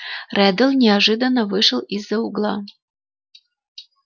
реддл неожиданно вышел из-за угла